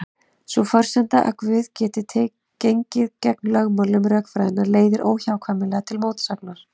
Sú forsenda að Guð geti gengið gegn lögmálum rökfræðinnar leiðir óhjákvæmilega til mótsagnar.